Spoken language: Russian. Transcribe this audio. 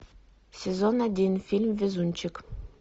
сезон один фильм везунчик